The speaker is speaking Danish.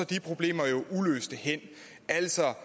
de problemer jo uløste hen altså